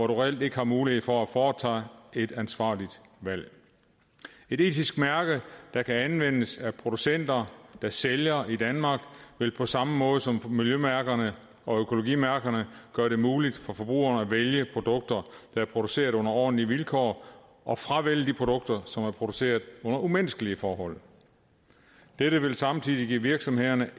reelt ikke har mulighed for at foretage et ansvarligt valg et etisk mærke der kan anvendes af producenter der sælger i danmark vil på samme måde som miljømærkerne og økologimærkerne gøre det muligt for forbrugerne at vælge produkter der er produceret under ordentlige vilkår og at fravælge de produkter som er produceret under umenneskelige forhold dette vil samtidig give virksomhederne